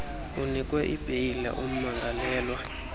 unikwe ibheyile umangalelwe